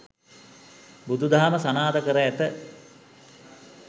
බුදුදහම සනාථ කර ඇත.